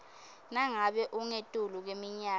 nangabe ungetulu kweminyaka